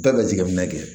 Bɛɛ bɛ jateminɛ kɛ